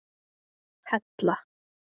Hella